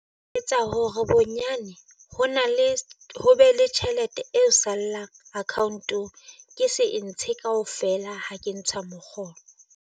Etsa hore bonyane ho na le ho be le tjhelete eo sallang account-o. Ke se entshe kaofela ha ke ntsha mokgolo.